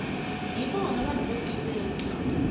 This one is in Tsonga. hi vona vanhu vo tiveka